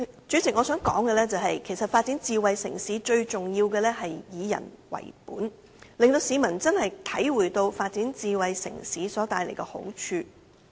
主席，其實發展智慧城市最重要是以人為本，令市民體會到發展智慧城市所帶來的好處。